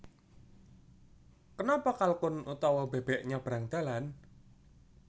Kenapa kalkun utawa bebek nyabrang dalan